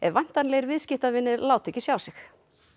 væntanlegir viðskiptavinir láta ekki sjá sig